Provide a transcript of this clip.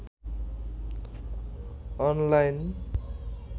online